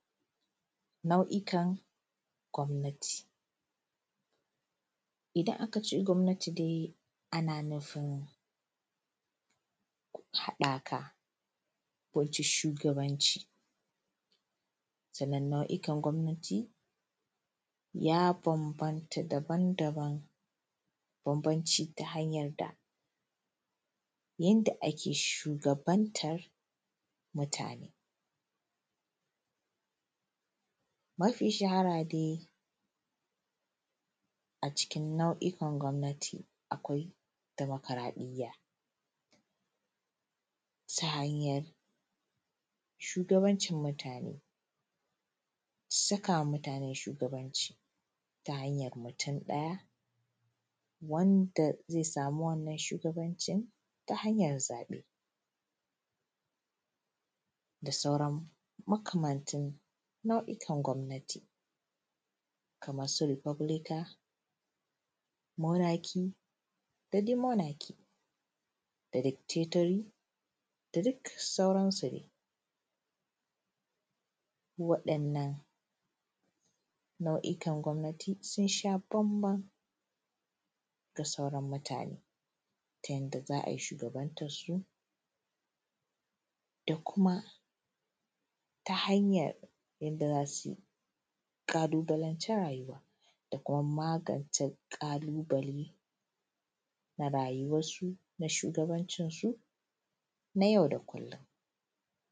Nau'ikan gomnati. Idan akace gomnati de ana nufin hadaka, Shugabanci. Sannan nau'ikan gomnati ya banbanta daban daban, da banbanci ta hanyar da yanda ake shugabantar mutane. Mafi shahara de a cikin nau'ikan gomnati akwai demokaradiyya ta hanyar shugancin mutane, sakawa mutane shuganci ta hanyar mutum daya wanda zai samu wannan shugabancin ta hanyar zabe da sauran makamantun nau'ikan gomnati. Kamansu republican, monarchy dade monarchy da dictatory da duk sauransu de. Wadannan nau'ikan gomnati sunsha banban da sauran mutane ta yadda za'ayi shugabantar su dakuma ta hanyar yadda zasu kalubalanci rayuwa da kuma magance kalubale na rayuwar su na shugabancin su na yau da kullum.